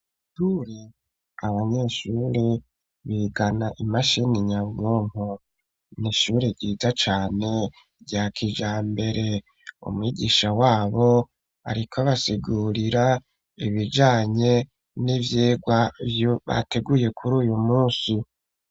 Abanyeshuri bigana imashini nyabwonko ni ishuri ryiza cane rya kijambere umwigisha wabo ariko basegurira ibijanye n'ivyirwa vyo bateguye kuri uyu munsi.